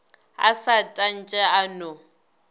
a sa tantshe a no